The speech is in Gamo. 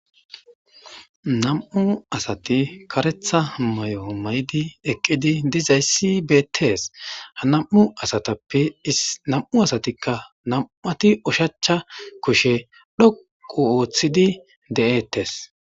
Nam'u asati kareta mayo mayidi eqidi dizaysi betes ha nam'uasatappe namatika ushacha kushshe dhoqu otidi detes.